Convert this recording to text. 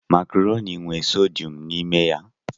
Makaroni nwe sodiyọm n'ime ya.